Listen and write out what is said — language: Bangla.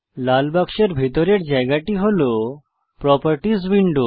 লাল বাক্সের ভিতরের জায়গাটি হল প্রোপারটিস উইন্ডো